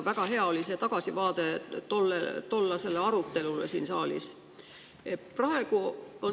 Väga hea oli see tagasivaade tollasele arutelule siin saalis.